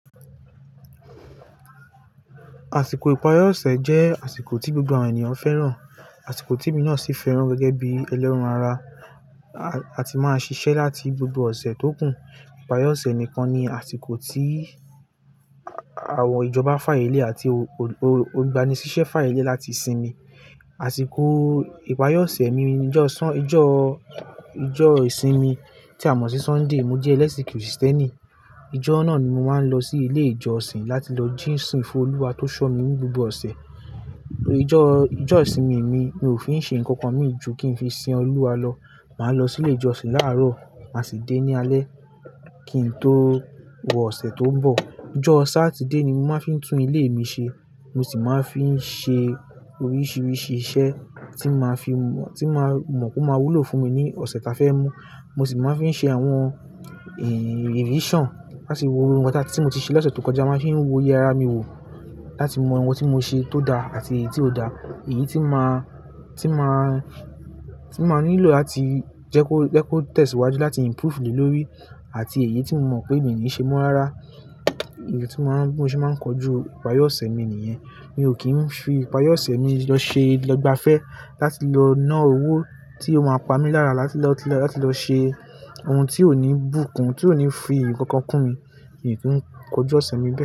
Àsìkò ìparí ọ̀sẹ̀ jẹ́ àsìkò tí gbogbo àwọn ènìyàn fẹ́ràn, àsìkò tí emi náà sì fẹ́ràn gẹ́gẹ́ bí ẹlẹ́ran ara. A ti máa ṣiṣẹ́ láti gbogbo ọ̀sẹ̀ tó kù. Ìparí ọ̀sẹ̀ nìkan ni àsìkò tí àwọn ìjọba fáàyè lẹ àti ogbaniṣiṣẹ fáàyè lé láti sinmi. Àsìkò ìparí ọ̀sẹ̀ mi ni ọjọ́ ìsinmi tí a mọ̀ sí Sunday. Mo jẹ́ ẹlẹ́sìn Kristẹ́nì. Ọjọ́ náà ni mo máa ń lọ sí ilé ìjọsìn láti lọ jọsin fún Olúwa tó ṣọ mí ní gbogbo ọ̀sẹ̀. Ọjọ́ ìsinmi mi, mi ò fi n ṣe ǹkan kan mì jù kí n fi sin Olúwa lọ. Màá lọ sí ilé ìjọsìn láàárọ̀, màá sì dé ní alé kí n tó wọ ọ̀sẹ̀ tó ń bọ̀. Ọjọ́ Sátidé ni mo máa ń fi tún ilé mi ṣe. Mo sì máa ń fi ṣe oríṣiríṣi iṣẹ́ tí màá mọ̀ p'o máa wúlò fún mi ní ọ̀sẹ̀ tí a fẹ́ mú. Mo sì máa ń fi ṣe àwọn revision láti wo ohun tí mo ti ṣe lọ́sẹ̀ tó kọjá. Màá fi wo oye mi wò láti mọ ohun tí mo ṣe tó dá àti èyí tí ò dá, èyí ti máa tí màá nílò láti jẹ́ kó tesiwájú láti improve le lórí àti èyí tí mo mọ̀ pé mi ní ṣe mọ́ rárá. Èyí ni bi mo ṣe máa ń kojú ìparí ọ̀sẹ̀ mi nìyẹn. Mi ò kí ń fi ìparí ọ̀sẹ̀ mi lọ ṣe ìgbafẹ́ láti lọ ná owó tí ó máa pa mí lára láti lọ ṣe ohun tí ò ní bùkun, ohun tí ò ní fi ǹkan kan kún mi nìyí kọjú ọ̀sẹ̀ mi bọ̀